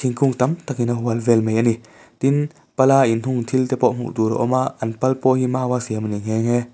kung tam tak in a hual vel mai a ni tin pala inhung thil te pawh hmuh tur a awm a an pal pawh hi maua siam a ni nghe nghe.